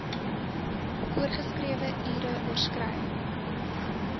voorgeskrewe ure oorskry